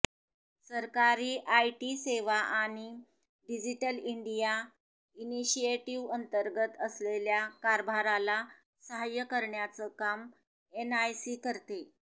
सरकारी आयटी सेवा आणि डिजिटल इंडिया इनिशिएटिव्हअंतर्गत असलेल्या कारभाराला साह्य करण्याचं काम एनआयसी करते